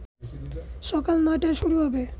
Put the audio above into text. সকাল ৯টায় শুরু হবে